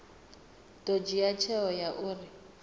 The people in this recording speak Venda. ḓo dzhia tsheo ya uri